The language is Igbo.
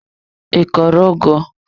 I kọrọ ugu?